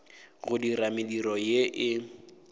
go dira mediro ye e